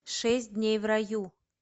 шесть дней в раю